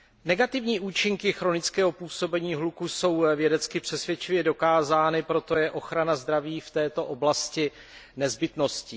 Negativní účinky chronického působení hluku jsou vědecky přesvědčivě dokázány, proto je ochrana zdraví v této oblasti nezbytností.